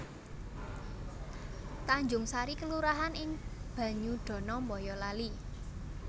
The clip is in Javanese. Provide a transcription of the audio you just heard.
Tanjungsari kelurahan ing Banyudana Bayalali